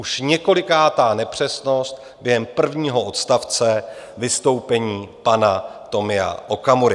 Už několikátá nepřesnost během prvního odstavce vystoupení pana Tomia Okamury.